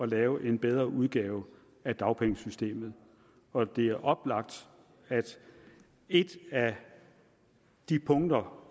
lave en bedre udgave af dagpengesystemet og det er oplagt at et af de punkter